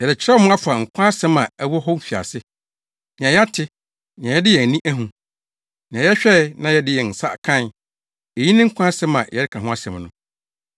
Yɛrekyerɛw mo afa Nkwa Asɛm a ɛwɔ hɔ fi mfiase; nea yɛate, nea yɛde yɛn ani ahu, nea yɛhwɛe na yɛde yɛn nsa kae, eyi ne Nkwa Asɛm a yɛreka ho asɛm no.